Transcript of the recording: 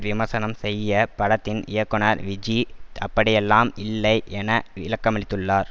விமர்சனம் செய்ய படத்தின் இயக்குனர் விஜி அப்படியெல்லாம் இல்லை என விளக்கமளித்துள்ளார்